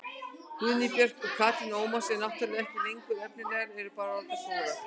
Guðný Björk og Katrín Ómars eru náttúrulega ekki lengur efnilegar, eru bara orðnar góðar.